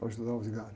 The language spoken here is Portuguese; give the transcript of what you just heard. Para ajudar o vigário.